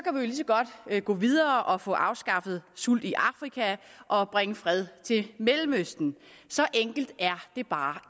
godt gå videre og få afskaffet sult i afrika og bringe fred til mellemøsten så enkelt er det bare